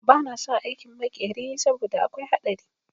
Ba na son aikin makeri saboda akwai haɗari